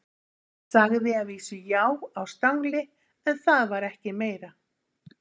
Sagði að vísu já á stangli, en það var ekki meira.